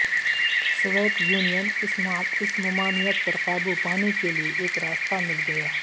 Soviet Union اس ممانعت پر قابو پانے کے لئے ایک راستہ مل گیا